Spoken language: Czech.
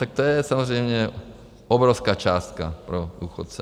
Tak to je samozřejmě obrovská částka pro důchodce.